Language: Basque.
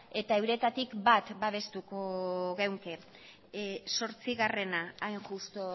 eta euretatik bat babestuko genuke zortzigarrena hain justu